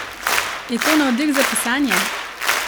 Je to navdih za pisanje?